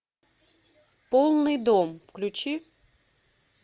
полный дом включи